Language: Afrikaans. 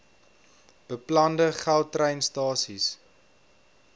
beplande gautrain stasies